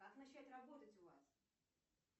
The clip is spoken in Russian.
как начать работать у вас